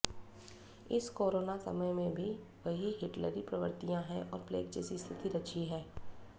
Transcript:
इस कोरोना समय में भी वही हिटलरी प्रवृत्तियां हैं और प्लेग जैसी स्थिति रची है